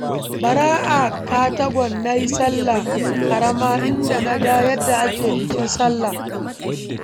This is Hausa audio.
Bara a Katagun na yi sallah ƙarama, inda na ga yadda ake bikin sallah.